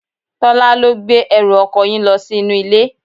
Tola ló gbé ẹrù ọkọ yín lo sí inú ilé.